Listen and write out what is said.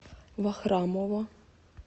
вахрамова